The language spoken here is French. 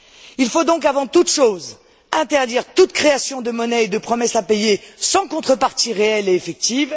Il faut donc, avant toute chose, interdire toute création de monnaie et de promesses à payer sans contrepartie réelle et effective.